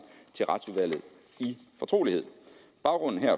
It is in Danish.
til retsudvalget i fortrolighed baggrunden